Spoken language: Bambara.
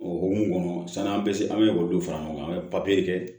O hukumu kɔnɔna an bɛ olu fara ɲɔgɔn kan an bɛ papiye kɛ